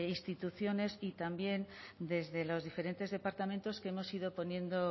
instituciones y también desde los diferentes departamentos que hemos ido poniendo